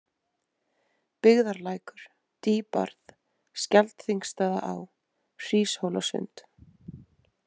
Byggðarlækur, Dýbarð, Skjaldþingsstaðaá, Hríshólssund